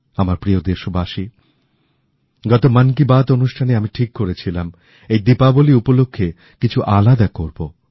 আমার প্রিয় দেশবাসী গত মন কি বাত অনুষ্ঠানে আমি ঠিক করেছিলাম এই দীপাবলি উপলক্ষে কিছু আলাদা করবো